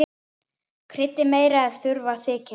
Kryddið meira ef þurfa þykir.